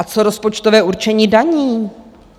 A co rozpočtové určení daní?